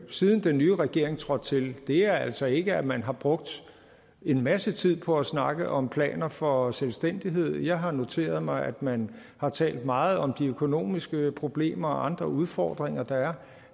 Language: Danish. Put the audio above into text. siden den nye regering trådte til er altså ikke at man har brugt en masse tid på at snakke om planer for selvstændighed jeg har noteret mig at man har talt meget om de økonomiske problemer og andre udfordringer der er